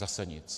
Zase nic.